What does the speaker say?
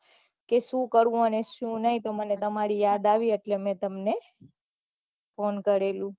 કે શું કરવું કે શું નહિ એટલે મને તમારી યાદ આવી એટલે મેં તમને phone કરેલું